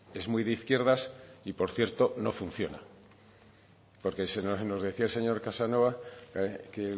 es muy de izquierdas y por cierto no funciona porque nos decía el señor casanova que